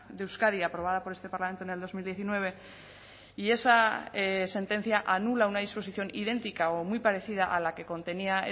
de euskadi aprobada por este parlamento en el dos mil diecinueve y esa sentencia anula una disposición idéntica o muy parecida a la que contenía